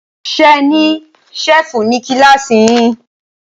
Ṣe ní ṣẹ́fù ní kílàsì yín?